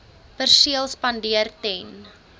perseel spandeer ten